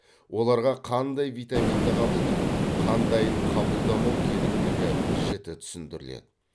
оларға қандай витаминді қабылдап қандайын қабылдамау керектігі жіті түсіндіріледі